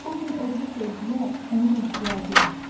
Bu gün odlu sevgiyə onun ehtiyacı var.